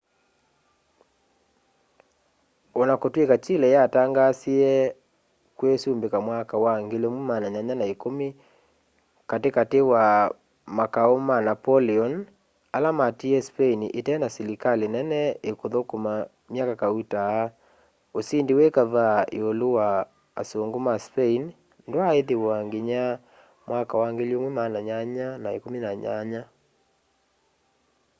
ona kutw'ika chile yatangaasie kwisumbika mwaka wa 1810 katikati wa makau ma napoleon ala matiie spain itena silikali nene ikuthukuma myaka kauta usindi wi kavaa iulu wa asungu ma spain ndwaa ithiwa nginya 1818